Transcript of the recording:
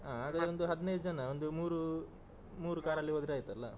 ಹಾ ಹಾಗಾದ್ರೊಂದು ಹದ್ನಾಯ್ದು ಜನ ಒಂದು ಮೂರು ಮೂರು car ಅಲ್ಲಿ ಹೋದ್ರೆ ಆಯ್ತಲ್ಲ.